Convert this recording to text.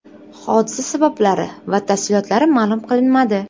Hodisa sabablari va tafsilotlari ma’lum qilinmadi.